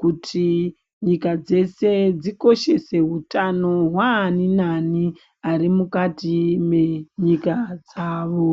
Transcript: kuti nyila dzeshe dzikoshese utano hwaani nani vari mukati mwenyika dzawo.